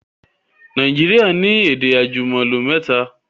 Naijiria ni èdè àjùmọ̀lò mẹ́ta